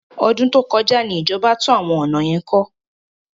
Ọdún tó kọjá ni ìjọba tún ọ̀nà yẹn kọ́.